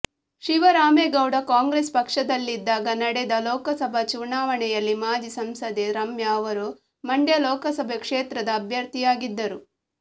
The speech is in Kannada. ಶಿವರಾಮೇಗೌಡ ಕಾಂಗ್ರೆಸ್ ಪಕ್ಷದಲ್ಲಿದ್ದಾಗ ನಡೆದ ಲೋಕಸಭಾ ಚುನಾವಣೆಯಲ್ಲಿ ಮಾಜಿ ಸಂಸದೆ ರಮ್ಯಾ ಅವರು ಮಂಡ್ಯ ಲೋಕಸಭೆ ಕ್ಷೇತ್ರದ ಅಭ್ಯರ್ಥಿಯಾಗಿದ್ದರು